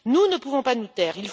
nous ne pouvons pas nous taire.